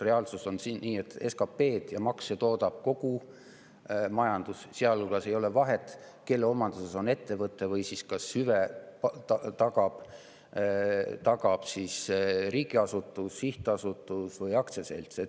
Reaalsus on see, et SKP-d ja makse toodab kogu majandus ja seejuures ei ole vahet, kelle omanduses on ettevõte, kas hüve tagab riigiasutus, sihtasutus või aktsiaselts.